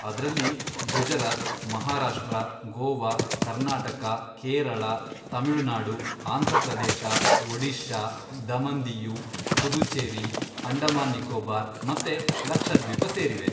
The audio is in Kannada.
ಅದ್ರಲ್ಲಿ ಗುಜರಾತ್, ಮಹಾರಾಷ್ಟ್ರ, ಗೋವಾ, ಕರ್ನಾಟಕ, ಕೇರಳ, ತಮಿಳು ನಾಡು, ಆಂಧ್ರ ಪ್ರದೇಶ, ಒಡಿಶಾ, ದಮನ್ ದಿಯು, ಪುಧುಚೆರಿ, ಅಂಡಮಾನ್ ನಿಕೋಬಾರ್, ಮತ್ತೆ ಲಕ್ಷದ್ವೀಪ ಸೇರಿವೆ.